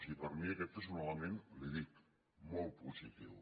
i per mi aquest és un element li ho dic molt positiu